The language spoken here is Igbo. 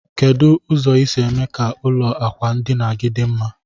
Kedu ụzọ isi eme ka ụlọ akwa ndinagi di mma?